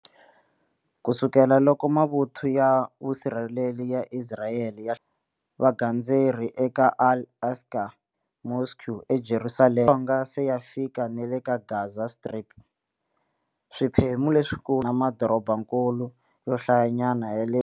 Kusukela loko mavuthu ya vusirheleri ya Isirayele ya vagandzeri eka Al Aqsa Mosque eJerusalem, ya fike na le Gaza Strip, swiphemu leswikulu swa madorobakulu yo hlaya nyana ya.